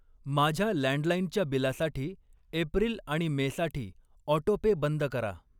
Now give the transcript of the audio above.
माझ्या लँडलाईनच्या बिलासाठी एप्रिल आणि मे साठी ऑटोपे बंद करा.